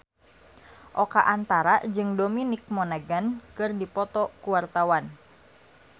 Oka Antara jeung Dominic Monaghan keur dipoto ku wartawan